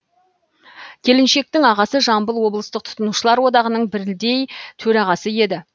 келіншектің ағасы жамбыл облыстық тұтынушылар одағының білдей төрағасы еді